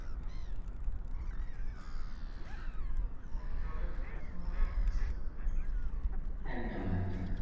তখন জলের ভারসাম্যটা নষ্ট হয়েযাবে একদম একদম,